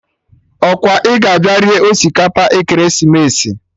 Ọkwa ị ga abịa rie osikapa ekeresimesi?